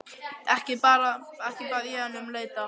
Ekki bað ég hana um að leita.